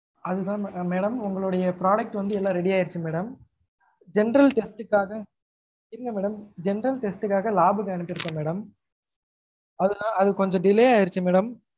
அது தான் madam உங்களொட product வந்து எல்லா ready ஆகிடுச்சு madam general test க்காஹ இல்ல madam general test க்காஹ lab க்கு அனுப்பிருக்கொம் madam அது நாலா அது கொஞ்சம் delay ஆகிடுச்சு madam